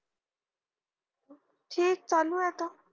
ठीक चालू ये आता